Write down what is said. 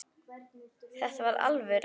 Þetta var alvöru.